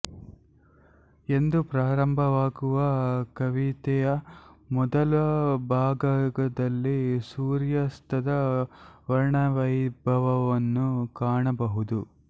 ಎಂದು ಪ್ರಾರಂಭವಾಗುವ ಕವಿತೆಯ ಮೊದಲ ಭಾಗದಲ್ಲಿ ಸೂರ್ಯಾಸ್ತದ ವರ್ಣವೈಭವವನ್ನು ಕಾಣಬಹುದು